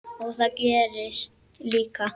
Og það gerðist líka.